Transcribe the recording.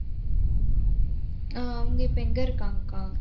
ஆஹ் அவங்க இப்ப எங்க இருக்காங்கக்கா?